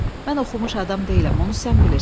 Mən oxumuş adam deyiləm, onu sən bilirsən.